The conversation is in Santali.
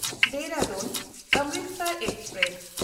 ᱫᱮᱦᱨᱟᱫᱩᱱ–ᱚᱢᱨᱤᱥᱚᱨ ᱮᱠᱥᱯᱨᱮᱥ